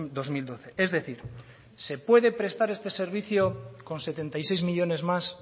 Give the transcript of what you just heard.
dos mil doce es decir se puede prestar este servicio con setenta y seis millónes más